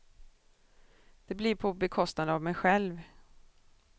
Det blir på bekostnad av mig själv.